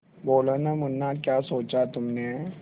बोलो न मुन्ना क्या सोचा तुमने